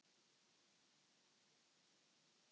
Eru þeir